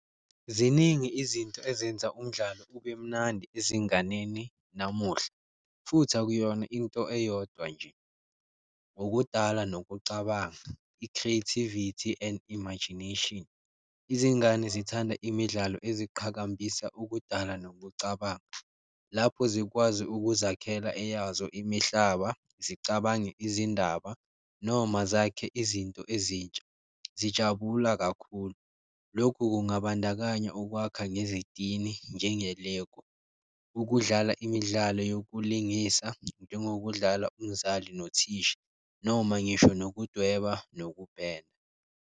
Ziningi izinto ezenza umdlalo ube mnandi ezinganeni namuhla futhi akuyona into eyodwa nje, ngokudala nokucabanga, i-creativity and imagination. Izingane zithanda imidlalo eziqhakambisa ukudala nokucabanga lapho zikwazi ukuzakhela eyazo imihlaba, zicabange izindaba noma zakhe izinto ezintsha, zijabula kakhulu. Lokhu kungabandakanya ukwakha ngezitini njenge-Lego, ukudlala imidlalo yokulungisa njengokudlala umzali nothisha, noma ngisho nokudweba nokupenda.